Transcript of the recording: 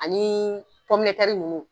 Ani minnu